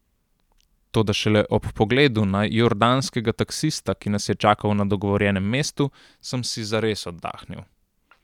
Toda šele ob pogledu na jordanskega taksista, ki nas je čakal na dogovorjenem mestu, sem si zares oddahnil.